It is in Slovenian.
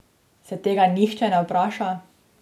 Se tega nihče ne vpraša?